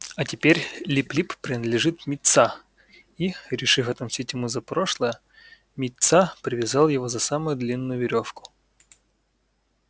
а теперь лип лип принадлежит мит са и решив отомстить ему за прошлое мит са привязал его за самую длинную верёвку